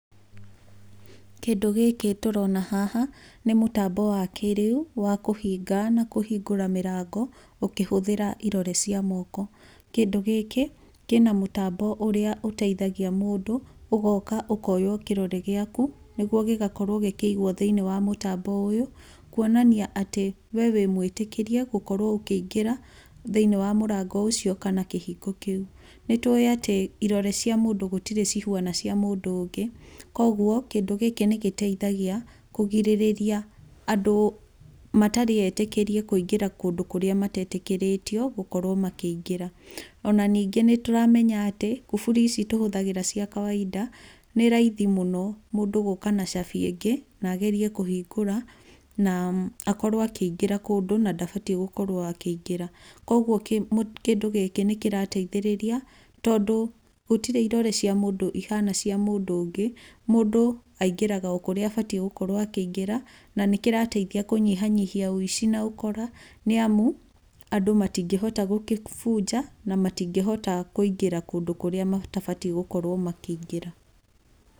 Kĩndũ gĩkĩ tũrona haha nĩ mũtambo wa kĩrĩu wa kũhinga na kũhingũra mĩrango ũkĩhũthĩra irore cia moko. Kĩndũ gĩkĩ kĩna mũtambo ũrĩa ũteithagia mũndũ ugoka ũkoywo kĩrore gĩaku nĩgwo gĩgakorwo gĩkigwo thĩinĩ wa mũtambo ũyũ kwonania atĩ we wĩ mwĩtĩkĩrie gũkorwo ũkĩingĩra thĩinĩ wa mũrango ũcio kana kĩhingo kĩu. Nĩtũĩ atĩ ĩrore cia mũndũ gũtirĩ cihũana cia mũndũ ũngĩ kwa ũguo kĩndũ gĩkĩ nĩgĩteithagia kũgirĩrĩria andũ matarĩ etĩkĩrie kũingĩra kũndũ kũrĩa matetĩkĩrĩtio gũkorwo makĩingĩra ona ningĩ nĩtũramenya atĩ kuburi ici tũhũthagĩra cia kawaida nĩ raithi mũno mũndũ gũka na cabi ĩngĩ na agerie kũhingũra na akorwo akĩingĩra kũndũ na ndabatie gũkorwo akĩingĩra kwa ũguo kĩndũ gĩkĩ nĩkĩrateithĩrĩria tondũ gũtirĩ ĩrore cia mũndũ ihana cia mũndũ ũngi ,mũndũ aingĩraga kũrĩa abatie gũkorwo akĩingĩra na nĩkĩrateithia kũnyiha nyihia wĩici na ũkora nĩamu andũ matingĩhota gũgĩbunja na matingĩhota kũingĩra kundũ kũrĩa matabatie gũkorwo makĩingĩra.